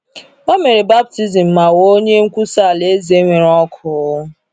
O mere baptizim ma ghọọ onye nkwusa Alaeze nwere ọkụ.